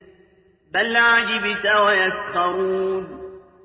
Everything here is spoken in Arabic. بَلْ عَجِبْتَ وَيَسْخَرُونَ